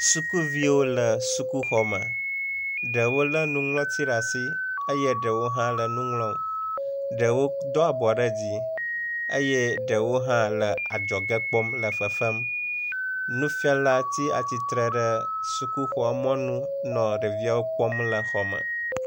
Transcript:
sukuviwo le sukuxɔme ɖewo le nuŋlɔti ɖe asi eye ɖewo hã le nuŋlɔm ɖewo dó abɔ ɖe dzi eye ɖewo hã le adzɔge kpɔm le fefem nufiala ti atitre ɖe sukuxɔ mɔnu le ɖeviwo kpɔm le xɔme